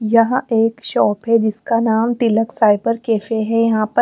यहां एक शॉप है जिसका नाम तिलक साइबर कैफे है यहां पे--